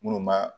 Minnu b'a